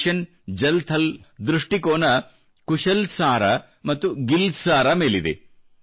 mission Jal Thal ದ ದೃಷ್ಟಿಕೋನ ಕುಶಲ್ ಸಾರ ಮತ್ತು ಗಿಲ್ ಸಾರ ಮೇಲಿದೆ